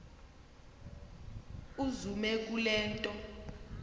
uzume kule nto